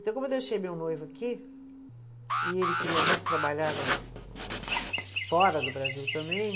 Então, como eu deixei meu noivo aqui, e ele queria muito trabalhar no no, fora do Brasil também,